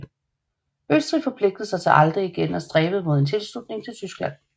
Østrig forpligtede sig til aldrig igen af stræbe mod en tilslutning til Tyskland